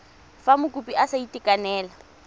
fa mokopi a sa itekanela